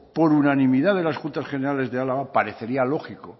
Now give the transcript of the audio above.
por unanimidad de las juntas generales de araba parecería lógico